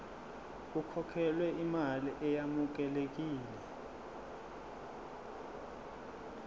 kukhokhelwe imali eyamukelekile